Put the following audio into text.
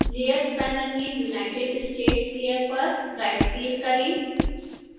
layers panel में united states layer पर right click करें